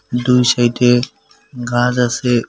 দুই সাইডে গাস আসে উ--।